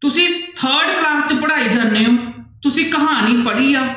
ਤੁਸੀਂ third class 'ਚ ਪੜ੍ਹਾਈ ਜਾਂਦੇ ਹੋ ਤੁਸੀਂ ਕਹਾਣੀ ਪੜ੍ਹੀ ਆ